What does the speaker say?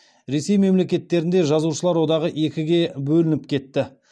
ресей мемлекеттерінде жазушылар одағы екіге бөлініп кетті